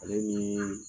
Ale ni